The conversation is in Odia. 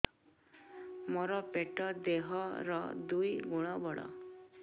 ମୋର ପେଟ ଦେହ ର ଦୁଇ ଗୁଣ ବଡ